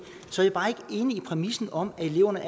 enig i præmissen om at eleverne